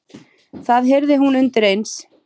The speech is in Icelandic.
Það heyrði hún undir eins.